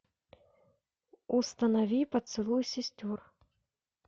установи поцелуй сестер